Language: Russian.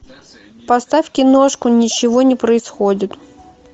поставь киношку ничего не происходит